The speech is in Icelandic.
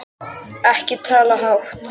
Ekki tala hátt!